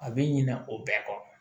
A bɛ ɲina o bɛɛ kɔ